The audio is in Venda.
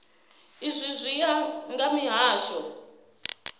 izwi zwi ya nga mihasho